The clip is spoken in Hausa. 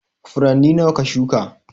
Furanni nawa ka shuka?